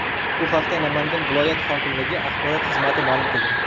Bu haqda Namangan viloyat hokimligi axborot xizmati ma’lum qildi .